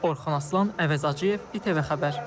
Orxan Aslan, Əmraza Cıyev, İTV Xəbər.